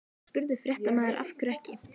Þá spurði fréttamaður: Af hverju ekki?